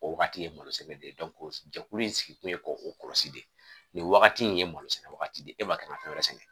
O wagati ye malo sɛnɛ de ye jɛkulu in sigi kun ye k'o kɔlɔsi de nin wagati nin ye malo sɛnɛ wagati de e ma kan ka fɛn wɛrɛ sɛnɛ